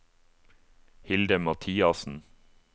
Hilde Mathiassen